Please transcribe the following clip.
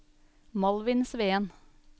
Malvin Sveen